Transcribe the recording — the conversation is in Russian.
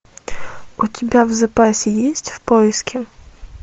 у тебя в запасе есть в поиске